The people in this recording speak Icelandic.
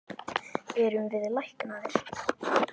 Erum við læknaðir?